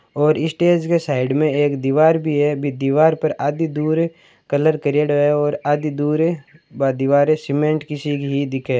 और इ स्टेज के साइड में एक दीवार भी है बी दीवार पर आदि दूर कलर करियोडो है और आदि दूर बा दीवार सीमेंट की सी ही दिखे।